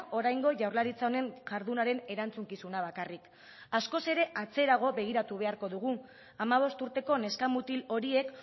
oraingo jaurlaritza honen jardunaren erantzukizuna bakarrik askoz ere atzerago begiratu beharko dugu hamabost urteko neska mutil horiek